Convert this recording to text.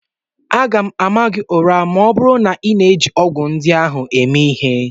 M ga ama gị ụra ma ọ bụrụ na ị na-eji ọgwụ ndị ahụ eme ihe!